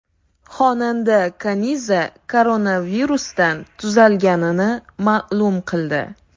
Xonanda Kaniza koronavirusdan tuzalganini ma’lum qildi.